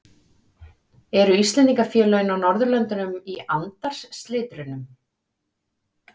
Eru Íslendingafélögin á Norðurlöndunum í andarslitrunum?